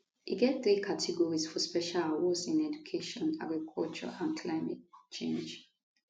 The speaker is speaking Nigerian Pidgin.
e get three categories for special awards in education agriculture and climate change